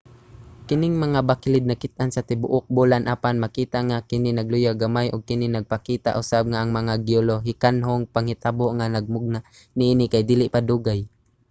kining mga bakilid nakit-an sa tibuok bulan apan makita nga kini nagluya na gamay ug kini nagpakita usab nga ang mga geolohikanhong panghitabo nga nagmugna niini kay dili pa dugay